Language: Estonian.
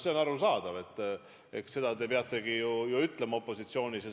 See on arusaadav, eks te seda peategi ju opositsioonis küsima.